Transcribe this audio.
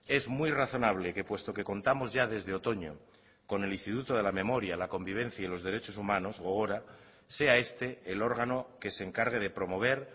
es muy razonable que puesto que contamos ya desde otoño con el instituto de la memoria la convivencia y los derechos humanos gogora sea este el órgano que se encargue de promover